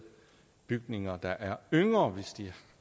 bygninger der er yngre hvis de